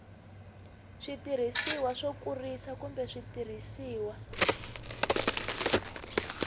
switirhisiwa swo kurisa kumbe switirhisiwa